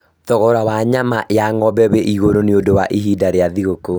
Thogora wa nyama ya ng'ombe wĩ igũrũ nĩũndũ nĩ ihinda rĩa thigũkũ